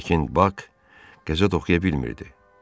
Lakin Bak qəzet oxuya bilmirdi.